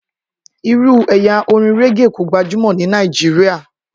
Irú ẹ̀yà orin régè kò gbajúmọ̀ ní Nàìjíríyà